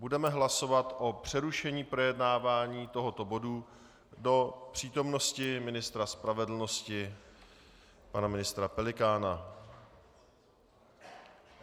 Budeme hlasovat o přerušení projednávání tohoto bodu do přítomnosti ministra spravedlnosti pana ministra Pelikána.